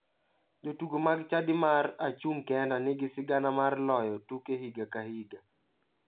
Jotugo mag chadi mar achung' kenda nigi sigana mar loyo tuke higa ka higa.